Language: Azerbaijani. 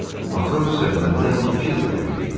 Matros isə məndən iki dəfə güclü idi.